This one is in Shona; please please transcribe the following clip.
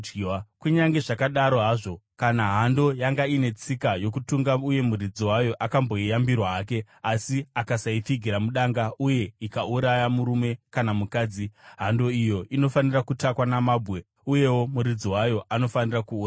Kunyange zvakadaro hazvo, kana hando yanga ine tsika yokutunga uye muridzi wayo akamboyambirwa hake asi akasaipfigira mudanga uye ikauraya murume kana mukadzi, hando iyo inofanira kutakwa namabwe uyewo muridzi wayo anofanira kuurayiwa.